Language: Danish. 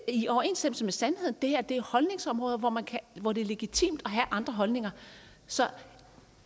i overensstemmelse med sandheden det her er holdningsområder hvor det er legitimt at have andre holdninger så